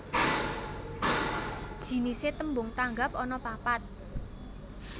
Jinisé tembung tanggap anapapat